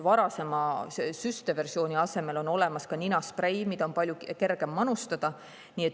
Varasema süsteversiooni asemel on olemas ka ninasprei, mida on palju kergem manustada.